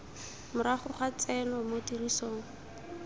morago ga tseno mo tirisong